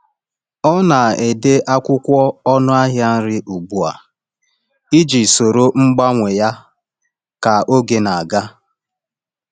Ọ na-ede akwụkwọ ọnụ ahịa nri ugbu a iji soro mgbanwe ya ka oge na-aga.